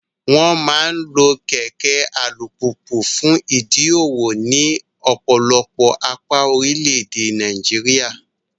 Wọ́n máa ń lo kẹ̀kẹ́ alùpùpù fún ìdí òwò ní ọ̀pọ̀lọpọ̀ apá orílẹ̀-èdè Nàìjíríà.